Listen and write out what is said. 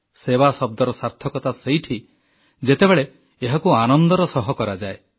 ସେବା ଶବ୍ଦର ସାର୍ଥକତା ସେଇଠି ଯେତେବେଳେ ଏହାକୁ ଆନନ୍ଦର ସହ କରାଯାଏ